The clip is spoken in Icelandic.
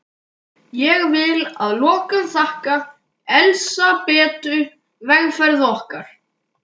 Ég vil að lokum þakka Elsabetu vegferð okkar.